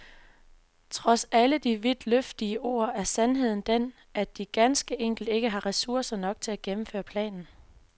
Trods alle de vidtløftige ord er sandheden den, at de ganske enkelt ikke har ressourcer til at gennemføre planen.